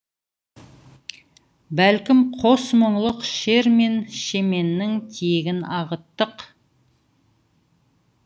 бәлкім қос мұңлық шер мен шеменнің тиегін ағыттық